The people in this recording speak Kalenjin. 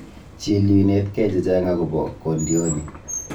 Chil yu inetekei chechang' agobo kondioni.